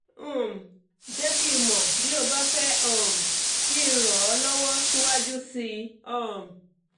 um jẹ́ kí n mọ̀ bí o bá fẹ́ um kí n ràn ọ́ lọ́wọ́ síwájú sí i um